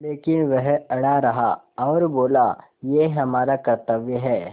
लेकिन वह अड़ा रहा और बोला कि यह हमारा कर्त्तव्य है